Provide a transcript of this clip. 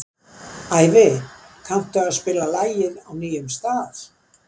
Ævi, kanntu að spila lagið „Á nýjum stað“?